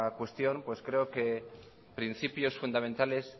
cuestión creo que principios fundamentales